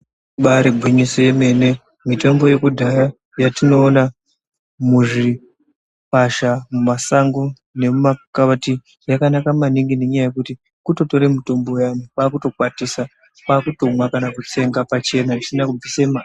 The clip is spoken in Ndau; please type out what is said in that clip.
Ibari gwinyiso yemene, mitombo yekudhaya yatinoona muzvikwasha mumasango nemumakauti yakanaka maningi nenyaya yekuti kutotore mutombo uyani kwakutokwatisa kwakutomwa kana kutsenga pachena pasina kubvise ma. .